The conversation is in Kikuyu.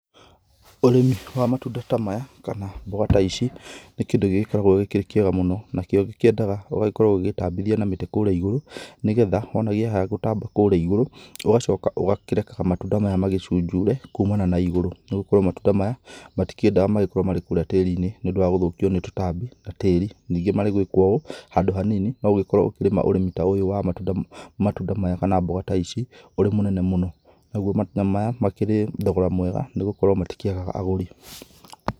Ũrĩmi wa matunda ta maya kana mboga ta ici nĩ kĩndũ gĩgĩkoragwo gĩkĩrĩ kĩega mũno, nakĩo gĩkĩendaga ũgagĩkorwo ũgĩgĩtambithia na mĩtĩ kũrĩa igũrũ. Nĩgetha ona kĩaya gũtamba kũrĩa igũrũ ũgacoka ũgakĩreka matunda maya magĩcunjure kumana na igũrũ, nĩgũkorwo matunda maya matikĩendaga magĩkorwo marĩ kũrĩa tĩrinĩ nĩũndũ wa gũthũkio nĩ tũtambi na tĩri. Ningĩ marĩ gwĩkuo ũũ handũ hanini no ũkorwo ũkĩrĩma ũrĩmi ta ũyũ wa matunda maya kana mboga ta ici ũrĩ mũnene mũno. Namo matunda maya makĩrĩrĩ thogora mwega nĩgũkorwo matikĩagaga agũri.